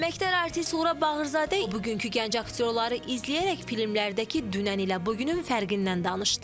Əməkdar artist Suğra Bağırzadə bugünkü gənc aktyorları izləyərək filmlərdəki dünənlə bu günün fərqindən danışdı.